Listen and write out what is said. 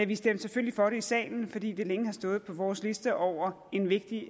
vi stemte selvfølgelig for det i salen fordi det længe har stået på vores liste over en vigtig